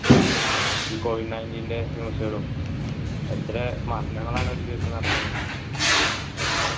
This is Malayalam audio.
ഈ covid ninteen ൻ്റെ news കളും എത്ര മരങ്ങളാണ് ഒരു ദിവസം നടക്കുന്നത്